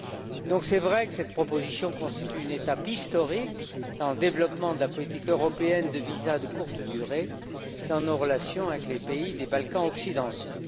Il est vrai que cette proposition constitue une étape historique dans le développement de la politique européenne de visas de courte durée dans nos relations avec les pays des Balkans occidentaux.